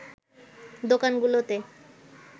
দোকানগুলোতে